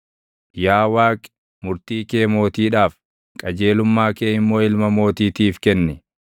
Yaa Waaqi, murtii kee mootiidhaaf, qajeelumma kee immoo ilma mootiitiif kenni.